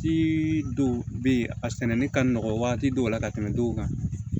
Si dɔw bɛ yen a sɛnɛnen ka nɔgɔ waati dɔw la ka tɛmɛ duw kan